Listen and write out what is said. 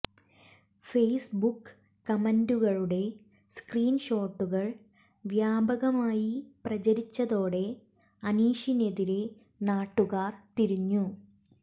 Facebook കമന്റുകളുടെ screen ഷോട്ടുകൾ വ്യാപകമായി പ്രചരിച്ചതോടെ അനീഷിനെതിരെ നാട്ടുകാർ തിരിഞ്ഞു